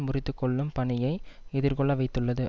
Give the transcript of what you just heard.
முறித்து கொள்ளும் பணியை எதிர்கொள்ள வைத்துள்ளது